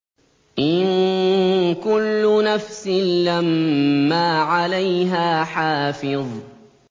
إِن كُلُّ نَفْسٍ لَّمَّا عَلَيْهَا حَافِظٌ